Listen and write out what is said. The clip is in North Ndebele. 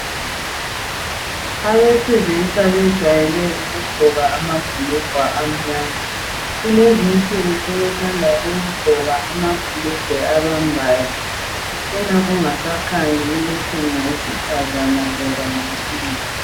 Abesilisa bejwayele ukugqoka amabhulugwa amnyama .Kulezi insuku sebethanda ukugqoka amabhulugwa abambayo. Kucina kungasakhanyi ukuthi ngowesifazane kumbe owesilisa